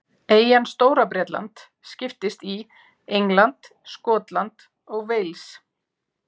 Eyjan Stóra-Bretland skiptist í England, Skotland og Wales.